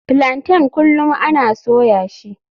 Plaintain kullum ana soya shi.